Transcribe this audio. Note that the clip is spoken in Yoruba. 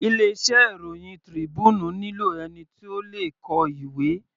Ilé iṣẹ́ ìròhìn Tribune nílò ẹni tí ó le kọ ìwé.